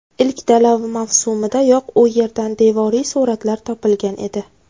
Ilk dala mavsumidayoq u yerdan devoriy suratlar topilgan edi.